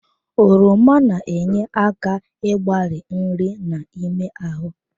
Oroma na-enye aka igbari nri n'ime ahụ.